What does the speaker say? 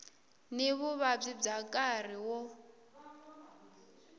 ni vuvabyi bya nkarhi wo